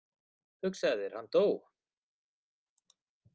Hugsaðu þér, hann dó.